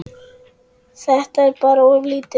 Þetta er bara of lítið.